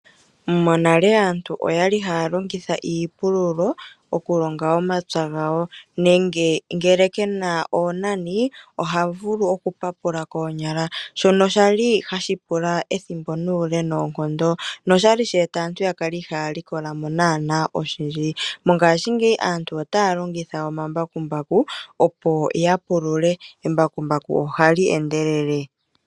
Monale aantu oyali haya longitha iipululo okulonga omapya gawo nenge ngele kena oonani oha vulu oku papula koonyala shono shali hashi pula ethimbo nuule noonkondo, noshali sheeta aantu ya kale ihaaya likola mo naana oshindji. Mongashingeyi aantu otaya longitha omambakumbaku opo ya pulule embakumbaku ohali endelele.